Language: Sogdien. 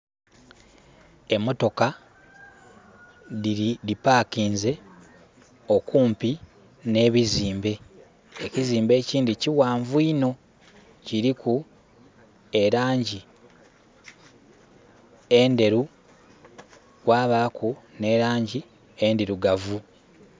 Emotoka dhipakinze okumpi ne'bizimbe, ekizimbe ekindhi ki ghanvu inho kiliku elangi endheru kwabaku ne langi endhirugavu.